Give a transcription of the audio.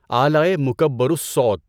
آلۂ مُکَبّرُ الصَّوت